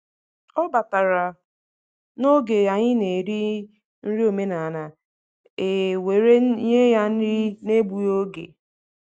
Ọ batara n’oge anyị na eri nri omenala, e were nye ya nri n’egbughị oge.